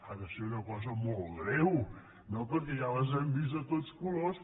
ha de ser una cosa molt greu no perquè ja les hem vist de tots colors